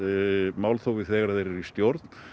málþófið þegar þeir eru í stjórn